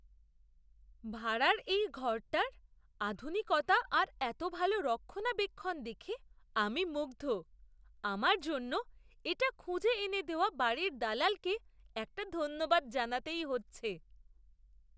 ভাড়ার এই ঘরটার আধুনিকতা আর এত ভালো রক্ষণাবেক্ষণ দেখে আমি মুগ্ধ! আমার জন্য এটা খুঁজে এনে দেওয়া বাড়ির দালালকে একটা ধন্যবাদ জানাতেই হচ্ছে।